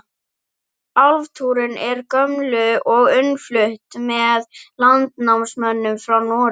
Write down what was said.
Álfatrúin er gömul og innflutt með landnámsmönnum frá Noregi.